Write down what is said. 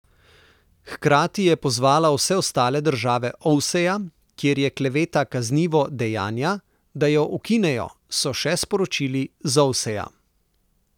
Hkrati je pozvala vse ostale države Ovseja, kjer je kleveta kaznivo dejanja, da jo ukinejo, so še sporočili z Ovseja.